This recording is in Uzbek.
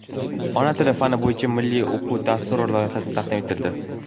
"Ona tili" fani bo‘yicha Milliy o‘quv dasturi loyihasi taqdim etildi.